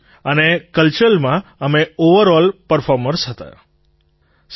અને કલ્ચરલમાં અમે ઑવરઑલ પર્ફૉર્મર્સ હતા સર